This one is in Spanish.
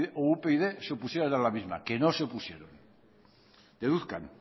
o upyd se opusieran a la misma que no se opusieron deduzcan